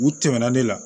U tɛmɛnna ne la